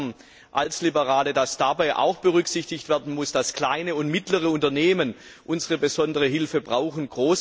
Wir als Liberale glauben, dass dabei auch berücksichtigt werden muss, dass kleine und mittlere Unternehmen unsere besondere Hilfe brauchen.